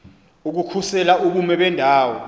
ukukhusela ubume bendawo